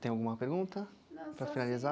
Tem alguma pergunta? não, para finalizar?